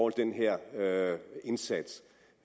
den her indsats